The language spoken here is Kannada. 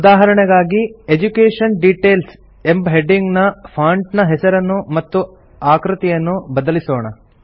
ಉದಾಹರಣೆಗಾಗಿ ಎಡ್ಯುಕೇಷನ್ ಡಿಟೇಲ್ಸ್ ಎಂಬ ಹೆಡಿಂಗ್ ನ ಫಾಂಟ್ ನ ಹೆಸರನ್ನು ಮತ್ತು ಆಕೃತಿಯನ್ನು ಬದಲಿಸೋಣ